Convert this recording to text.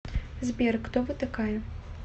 сбер кто вы такая